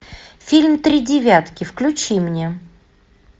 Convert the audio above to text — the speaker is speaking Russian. фильм три девятки включи мне